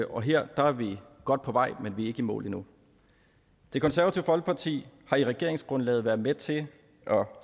og her er vi godt på vej men vi er ikke i mål endnu det konservative folkeparti har i regeringsgrundlaget været med til at